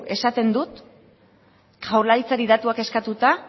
esaten dut jaurlaritzari datuak eskatuta